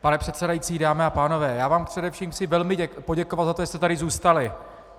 Pane předsedající, dámy a pánové, já vám především chci velmi poděkovat za to, že jste tady zůstali.